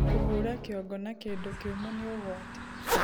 Kũhũra kĩongo na kĩndũ kĩũmũ nĩ ũgwati